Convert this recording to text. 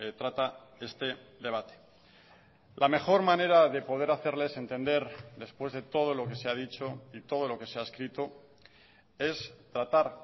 trata este debate la mejor manera de poder hacerles entender después de todo lo que se ha dicho y todo lo que se ha escrito es tratar